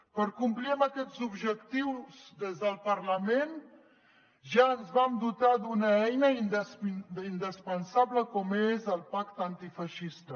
per complir amb aquests objectius des del parlament ja ens vam dotar d’una eina indispensable com és el pacte antifeixista